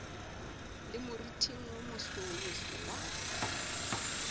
le moriting wo mosomoso wa